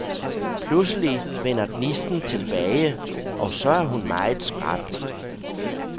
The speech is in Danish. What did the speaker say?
Pludselig vender gnisten tilbage, og så er hun meget skrap.